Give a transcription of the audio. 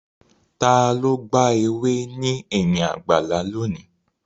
Ta ló gba ewé ní ẹ̀yìn àgbàlá lónìí?